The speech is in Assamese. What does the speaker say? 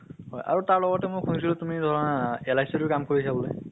হয় আৰু তাৰ লগতে মই শুনিছিলো তুমি ধৰা আহ LIC টো কাম কৰিছা বুলে?